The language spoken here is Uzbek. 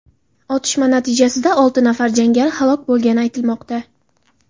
Otishma natijasida olti nafar jangari halok bo‘lgani aytilmoqda.